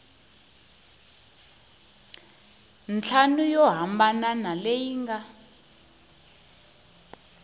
ntlhanu yo hambana leyi nga